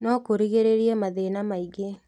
No kũrigĩrĩrie mathĩna maingĩ